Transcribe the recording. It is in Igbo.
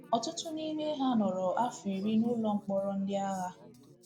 Ọtụtụ n’ime ha nọrọ afọ iri n’ụlọ mkpọrọ ndị agha.